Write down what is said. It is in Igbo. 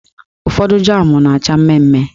Ụfọdụ jam na-acha mmemme.